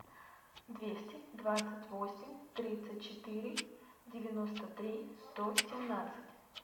двести двадцать восемь тридцать четыре девяносто три сто семнадцать